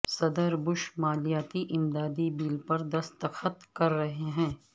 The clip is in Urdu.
صدر بش مالیاتی امدادی بل پر دستخط کر رہے ہیں